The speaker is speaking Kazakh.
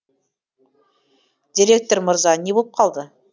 директор мырза не болып қалды